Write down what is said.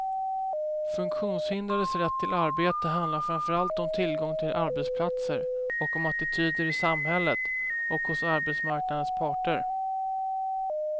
Funktionshindrades rätt till arbete handlar framför allt om tillgång till arbetsplatser och om attityder i samhället och hos arbetsmarknadens parter.